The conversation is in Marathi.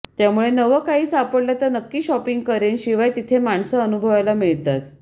त्यामुळे नवं काही सापडलं तर नक्की शॉपिंग करेन शिवाय तिथे माणसं अनुभवायला मिळतात